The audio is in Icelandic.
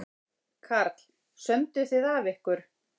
Karl: Sömdu þið af ykkur?